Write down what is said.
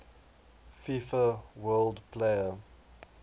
fifa world player